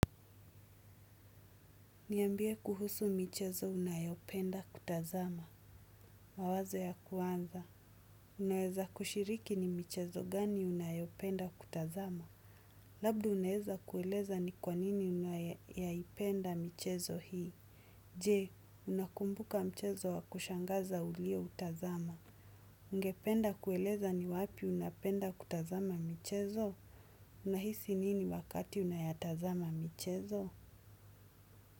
Niambie kuhusu michezo unayopenda kutazama. Mawazo ya kuanza. Unaweza kushiriki ni michezo gani unayopenda kutazama. Labdo unaweza kueleza ni kwanini unaipenda michezo hii. Jee, unakumbuka michezo wa kushangaza ulio utazama. Ungependa kueleza ni wapi unapenda kutazama michezo? Unahisi nini wakati unayatazama michezo?